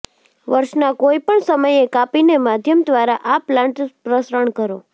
વર્ષના કોઇ પણ સમયે કાપીને માધ્યમ દ્વારા આ પ્લાન્ટ પ્રસરણ કરો